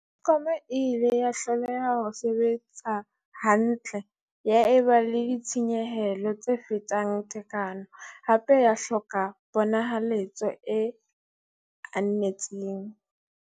Eskom e ile ya hloleha ho sebetsa hantle, ya eba le ditshenyehelo tse fetang tekano, hape ya hloka ponahaletso e anetseng.